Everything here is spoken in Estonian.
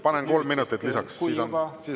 Panen kolm minutit lisaks, siis on korrektne.